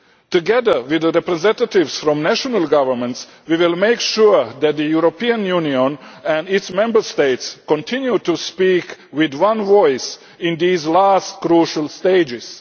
Together with the representatives from national governments, we will make sure that the European Union and its Member States continue to speak with one voice in these last crucial stages.